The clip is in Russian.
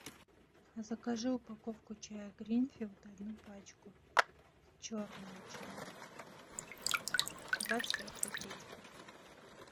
закажи упаковку чая гринфилд одну пачку черного чая двадцать пять пакетиков